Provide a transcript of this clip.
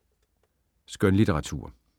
Skønlitteratur